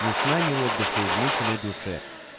ни сна ни отдыха измученной душе